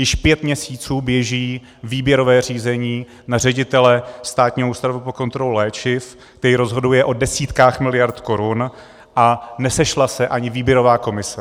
Již pět měsíců běží výběrové řízení na ředitele Státního ústavu pro kontrolu léčiv, který rozhoduje o desítkách miliard korun, a nesešla se ani výběrová komise.